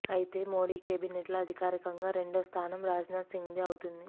అయితే మోడీ కేబినెట్లో అధికారికంగా రెండో స్థానం రాజ్నాథ్ సింగ్దే అవుతుంది